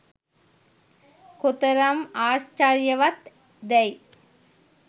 කොතරම් ආශ්චර්යවත් දැයි